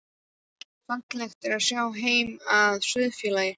Fallegt er að sjá heim að Sauðafelli.